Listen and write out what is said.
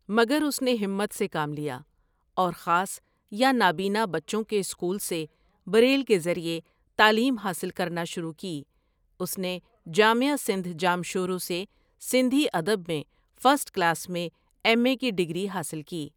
مگر اس نے ہمت سے کام لیا اور خاص یا نابین بچوں کے اسکول میں سے بریل کے ذريعي تعليم حاصل کرنا شروع کی اس نے جامعہ سندھ جامشورو سے سندھی ادب میں فرسٹ کلاس میں ایم اے کی ڈگری حاصل کی ۔